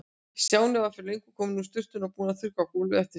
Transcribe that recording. Stjáni var fyrir löngu kominn úr sturtunni og búinn að þurrka gólfið eftir sig.